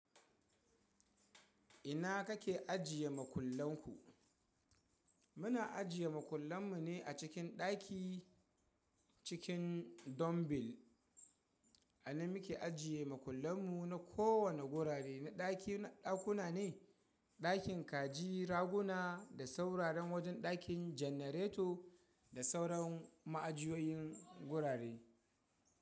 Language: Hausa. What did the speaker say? Ina kake ajiye makullan ku? Muna ajiye makullan mu ne a cikin ɗaki cikin dombil. Anan muke ajiye makullan mu na kowane gurare na ɗaki ɗakuna ne, ɗakin kaji, raguna da sauraran wajen ɗakin janareto da sauran ma'ajiyoyin gurare.